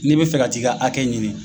N'i bɛ fɛ ka t'i ka hakɛ ɲini